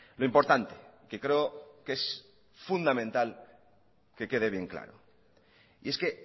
lo importante que creo que es fundamental que quede bien claro y es que